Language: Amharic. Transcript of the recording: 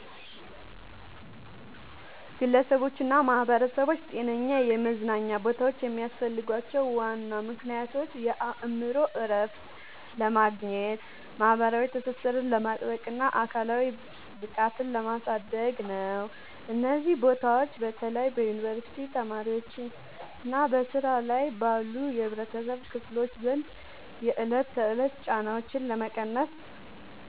ግለሰቦችና ማኅበረሰቦች ጤናማ የመዝናኛ ቦታዎች የሚያስፈልጓቸው ዋና ምክንያቶች የአእምሮ እረፍት ለማግኘት፣ ማኅበራዊ ትስስርን ለማጥበቅና አካላዊ ብቃትን ለማሳደግ ነው። እነዚህ ቦታዎች በተለይ በዩኒቨርሲቲ ተማሪዎችና በሥራ ላይ ባሉ የኅብረተሰብ ክፍሎች ዘንድ የዕለት ተዕለት ጫናዎችን ለመቀነስ